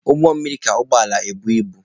Ụgbọ mmiri ka ụgbọ ala ebu ibu.